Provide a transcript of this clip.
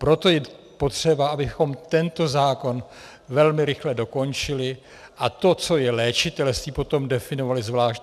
Proto je potřeba, abychom tento zákon velmi rychle dokončili a to, co je léčitelství, potom definovali zvlášť.